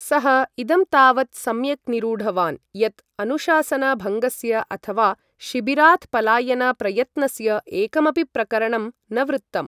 सः इदं तावत् सम्यक् निरूढवान् यत् अनुशासन भङ्गस्य अथवा शिबिरात् पलायन प्रयत्नस्य एकमपि प्रकरणं न वृत्तम्।